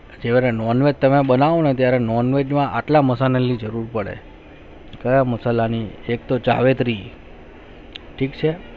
એ જે non veg જે બનવું ના તે non veg માં આટલા મસાલા use પડે કાયા મસાલા ની એક તો જાવેતરી ઠીક છે